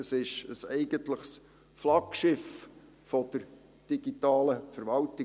Es ist ein eigentliches Flaggschiff der digitalen Verwaltung.